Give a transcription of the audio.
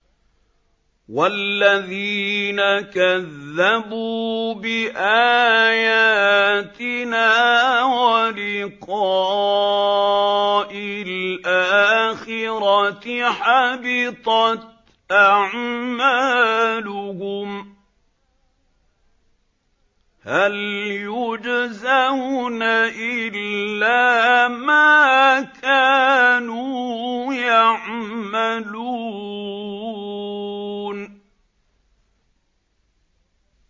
وَالَّذِينَ كَذَّبُوا بِآيَاتِنَا وَلِقَاءِ الْآخِرَةِ حَبِطَتْ أَعْمَالُهُمْ ۚ هَلْ يُجْزَوْنَ إِلَّا مَا كَانُوا يَعْمَلُونَ